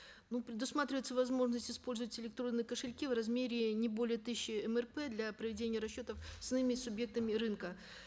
ну предусматривается возможность использовать электронные кошельки в размере не более тысяча мрп для проведения расчетов с иными субъектами рынка